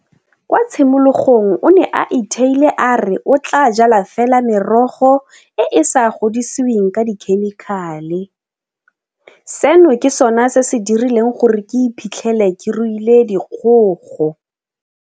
Kwa tshimologong o ne a itheile a re o tla jala fela merogo e e sa godisiweng ka dikhemikhale. Seno ke sona se se dirileng gore ke iphitlhele ke ruile dikgogo.